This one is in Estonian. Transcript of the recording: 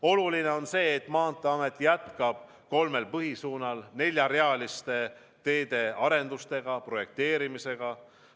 Oluline on see, et Maanteeamet jätkab kolmel põhisuunal neljarealiste teede arendustega, projekteerimisega.